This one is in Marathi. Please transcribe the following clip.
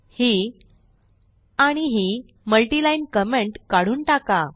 ही आणि ही मल्टिलाईन कमेंट काढून टाका